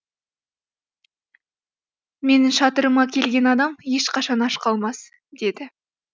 менің шатырыма келген адам ешқашан аш қалмас деді